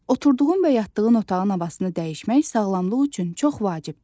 Oturduğun və yatdığın otağın havasını dəyişmək sağlamlıq üçün çox vacibdir.